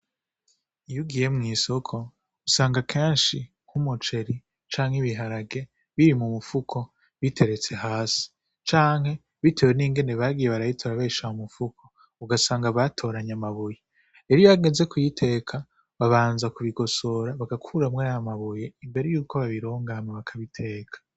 Iyugiye mw'isoko usanga kenshi nk'umuceri canke ibiharage biri mu mupfuko biteretse hasi canke, bitewe n'ingene bagiye barayita arabesha mu mupfuko ugasanga batoranye amabuye eliyo ageze kuyiteka babanza kubigosora bagakuramwo y mabuye imbere yuko babirongae mabakabiteka.